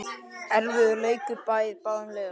Erfiður leikur beið báðum liðum.